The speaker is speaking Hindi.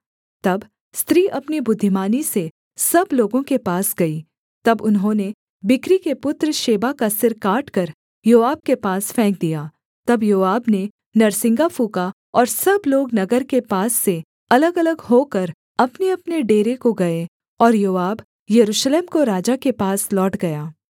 तब स्त्री अपनी बुद्धिमानी से सब लोगों के पास गई तब उन्होंने बिक्री के पुत्र शेबा का सिर काटकर योआब के पास फेंक दिया तब योआब ने नरसिंगा फूँका और सब लोग नगर के पास से अलगअलग होकर अपनेअपने डेरे को गए और योआब यरूशलेम को राजा के पास लौट गया